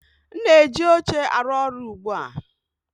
M na-eji oche arụ ọrụ ugbu a